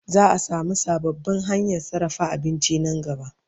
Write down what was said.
Za'a samu sababbin hanyan sarrafa abinci Nan gaba